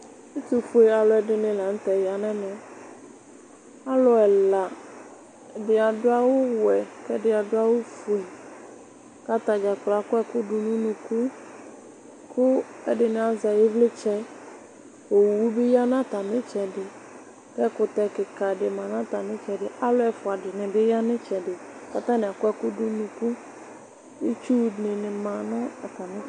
Ɛtufue aluɛdini la nutɛ ya nɛmɛ alu ɛladi adu awu wɛ ku ɛfua adu awu fue ɛfua akɔ ɛku du nu unuku ku ɛdini azɛ ivlitsɛ owu bi ya nu atami itsɛdi ku ɛkutɛ kika dibi yanu atami itsɛdi ɛfuadini dinibi yanu atami itsɛdi itsudi dinibi ma nu atami itsɛdi